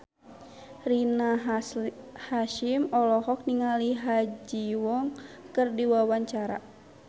Rina Hasyim olohok ningali Ha Ji Won keur diwawancara